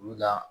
Olu la